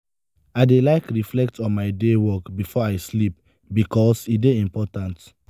i dey like reflect on my day work before i sleep bikos e dey important.